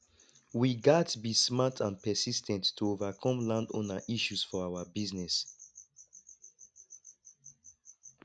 we gats be smart and persis ten t to overcome landowner issues for our business